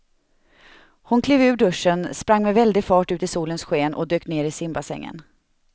Hon klev ur duschen, sprang med väldig fart ut i solens sken och dök ner i simbassängen.